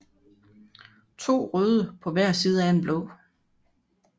To røde på hver side af en blå